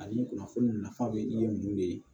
Ani kunnafoni nafa bɛ di ninnu de ye